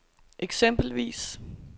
eksempelvis